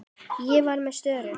Ég var með störu.